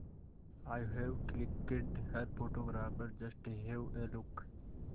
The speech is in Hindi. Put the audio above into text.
I have clicked her photographer just have a look